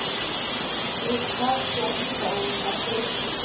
exhaswa libandla lesikolo